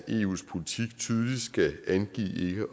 eus politik tydeligt skal angive